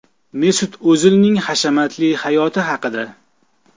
Mesut O‘zilning hashamatli hayoti haqida.